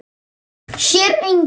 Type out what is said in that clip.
Sér engan.